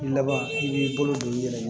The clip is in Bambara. Laban i b'i bolo don i yɛrɛ ye